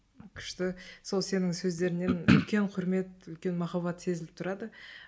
күшті сол сенің сөздеріңнен үлкен кұрмет үлкен махаббат сезіліп тұрады